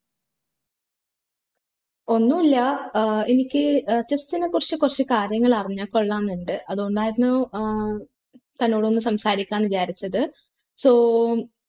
ഒന്നൂല്യ ഏർ എനിക്ക് ഏർ chess നെ കുറിച്ച് കാര്യങ്ങൾ അറിഞ്ഞാ കൊള്ളാമെന്നുണ്ട് അതോണ്ടായിരുന്നു ഏർ തന്നോടൊന്ന് സംസാരിക്കാം വിചാരിച്ചത് so